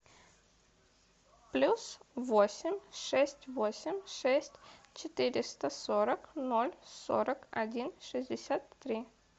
плюс восемь шесть восемь шесть четыреста сорок ноль сорок один шестьдесят три